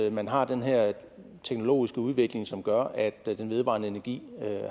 at man har den her teknologiske udvikling som gør at den vedvarende energi